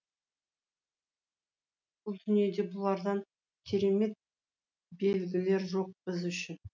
бұл дүниеде бұлардан керемет белгілер жоқ біз үшін